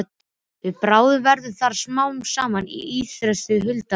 Við bráðnun verða þar smám saman til ísstrýtur huldar auri.